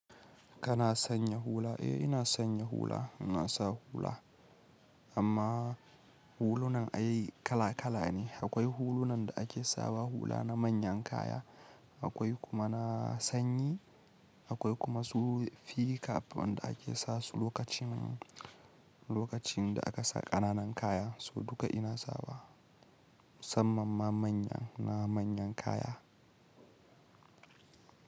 Kana sanya hula? Eh ina sanya hula, ina sa hula. Amma hulunan a yi kala kala ne. Akwai hulunan da ake sawa hula na manyan kaya, akwai kuma na sanyi, akwai kuma su fi cap wanda ake sasu lokacin, lokacin da aka sa ƙananan kaya. So duka ina sawa musamman ma manya, na manyan kaya.